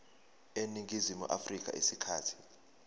eningizimu afrika isikhathi